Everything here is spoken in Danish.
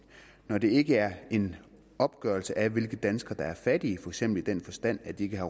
når det ikke er en opgørelse af hvilke danskere der er fattige for eksempel i den forstand at de ikke har